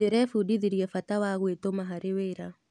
Ndĩrebundithirie bata wa gwĩtũma harĩ wĩra.